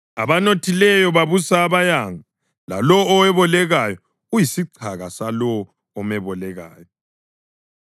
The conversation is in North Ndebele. Abanothileyo babusa abayanga, lalowo owebolekayo uyisichaka salowo omebolekayo.